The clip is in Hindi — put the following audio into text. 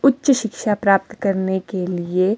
उच्च शिक्षा प्राप्त करने के लिए--